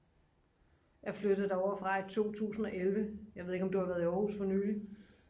jeg flyttede derovre fra i 2011 jeg ved ikke om du har været i aarhus for nylig